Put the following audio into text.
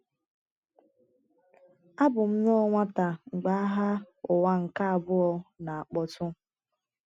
ABỤ m nnọọ nwata mgbe Agha Ụwa nke Abụọ na - akpọtụ.